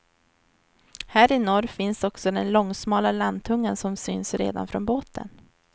Här i norr finns också den långsmala landtungan som syns redan från båten.